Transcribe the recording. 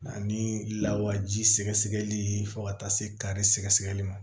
Ani lawaji sɛgɛ sɛgɛli fo ka taa se kari sɛgɛsɛgɛli ma